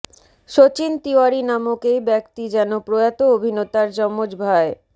সচিন তিওয়ারি নামক এই ব্যক্তি যেন প্রয়াত অভিনেতার যমজ ভাই